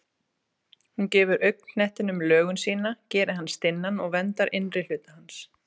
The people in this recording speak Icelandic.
Hún gefur augnknettinum lögun sína, gerir hann stinnan og verndar innri hluta hans.